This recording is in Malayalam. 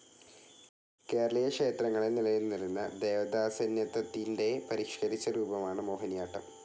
കേരളീയക്ഷേത്രങ്ങളിൽ നിലനിന്നിരുന്ന ദേവദാസ്യന്യത്തത്തിൻ്റെ പരിഷ്കരിച്ച രൂപമാണ് മോഹനിയാട്ടം.